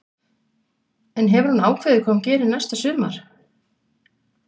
En hefur hún ákveðið hvað hún gerir næsta sumar?